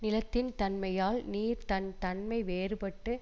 நிலத்தின் தன்மையால் நீர் தன் தன்மை வேறுபட்டு